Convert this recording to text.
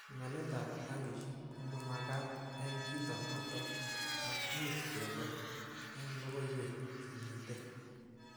Pimanetab rangishek komamagat eng kit noto ak much kero eng logoiwek chemite